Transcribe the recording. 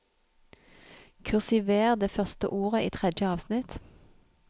Kursiver det første ordet i tredje avsnitt